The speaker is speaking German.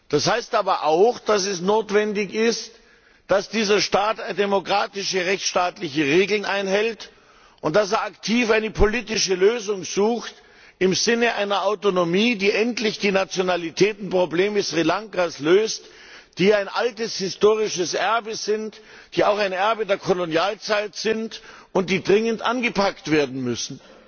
Das heißt aber auch, dass es notwendig ist, dass dieser Staat demokratische, rechtsstaatliche Regeln einhält und aktiv eine politische Lösung im Sinne einer Autonomie sucht, die endlich die Nationalitätenprobleme Sri Lankas löst, die ein altes historisches Erbe sind, die auch ein Erbe der Kolonialzeit sind und die dringend angepackt werden müssen.